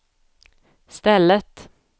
stället